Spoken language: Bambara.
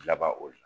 Laban o la